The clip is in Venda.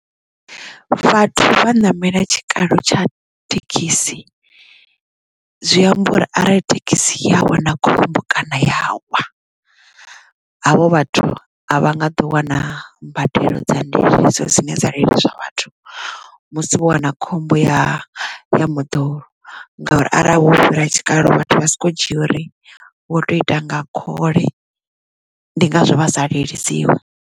Vhathu vha ṋamela tshikalo tsha thekhisi zwi amba uri arali thekhisi ya a wa na khombo kana ya wa havho vhathu a vha nga ḓo wana mbadelo dza ndiliso dzine dza liliswa vhathu musi vho wana khombo ya moḓoro ngauri arali vho fhira tshikalo vhathu vha soko dzhia uri wo tou ita nga khole ndi ngazwo vha sa lilisiwi.